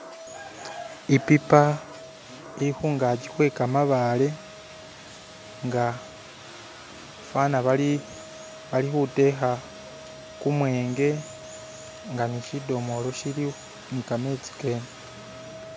ipipa ilihungaki hwekamabaale nga fana bali bali huteha kumwenge nga nishidomolo shiliwo nikametsi kene